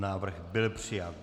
Návrh byl přijat.